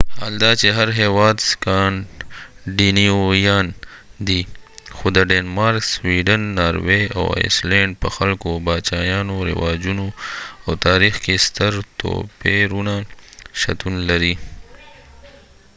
حال دا چې هر هیواد سکانډینیویان دی خو د ډینمارک سویډن ناروې او آیسلینډ په خلکو باچایانو رواجونو او تاریخ کې ستر توپیرونه شتون لري